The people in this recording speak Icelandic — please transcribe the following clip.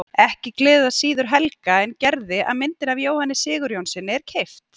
Ekki gleður það síður Helga en Gerði að myndin af Jóhanni Sigurjónssyni er keypt.